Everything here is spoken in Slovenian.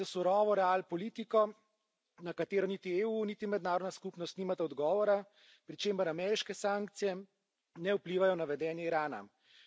Gre za surovo real politiko, na katero niti EU niti mednarodna skupnost nimata odgovora, pri čemer ameriške sankcije ne vplivajo na vedenje Irana.